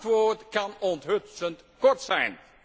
Het antwoord kan onthutsend kort zijn.